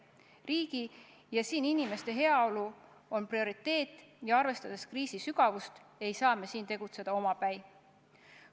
Riigi ja siinsete inimeste heaolu on prioriteet ning arvestades kriisi sügavust, ei saa me siin tegutseda omapäi.